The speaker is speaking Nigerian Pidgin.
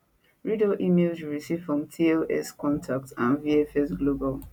read all emails you receive from tlscontact and vfs global